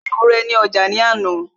ó ra ewúrẹ́ ní ọjà ní àná